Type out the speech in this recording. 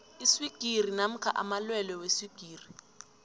iswigiri namkha amalwelwe weswigiri